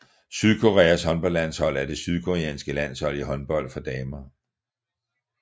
Sydkoreas håndboldlandshold er det sydkoreanske landshold i håndbold for damer